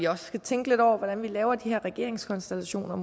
også skal tænke lidt over hvordan vi laver de her regeringskonstellationer